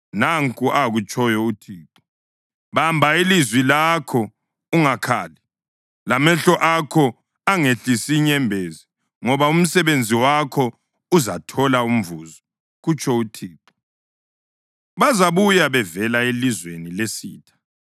Nanku akutshoyo uThixo: “Bamba ilizwi lakho ungakhali, lamehlo akho angehlisi inyembezi ngoba umsebenzi wakho uzathola umvuzo,” kutsho uThixo. “Bazabuya bevela elizweni lesitha.